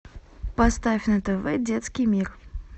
поставь на тв детский мир